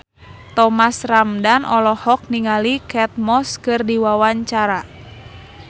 Thomas Ramdhan olohok ningali Kate Moss keur diwawancara